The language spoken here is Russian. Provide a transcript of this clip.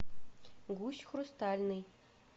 гусь хрустальный